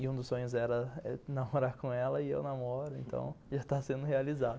E um dos sonhos era namorar com ela e eu namoro, então já está sendo realizado.